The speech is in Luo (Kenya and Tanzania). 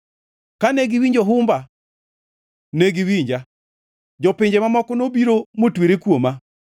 Kane giwinjo humba, ne giwinja; jopinje mamoko nobiro motwere kuoma.